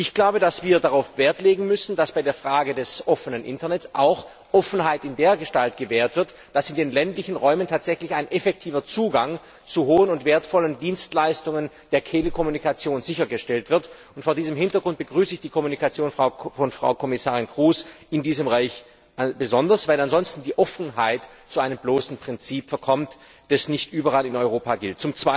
Ich glaube, dass wir darauf Wert legen müssen, dass bei der Frage des offenen Internets auch Offenheit dergestalt gewährt wird, dass in den ländlichen Räumen tatsächlich ein effektiver Zugang zu hohen und wertvollen Dienstleistungen der Telekommunikation sichergestellt wird, und vor diesem Hintergrund begrüße ich die Mitteilung von Frau Kommissarin Kroes in diesem Bereich besonders, weil ansonsten die Offenheit zu einem bloßen Prinzip verkommt, das nicht überall in Europa gilt.